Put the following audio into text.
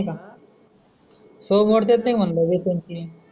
सवय मोडता येत नाही म्हणलं एक, दोन, तीन.